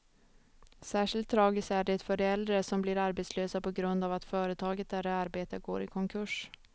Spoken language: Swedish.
Särskilt tragiskt är det för de äldre som blir arbetslösa på grund av att företaget där de arbetar går i konkurs.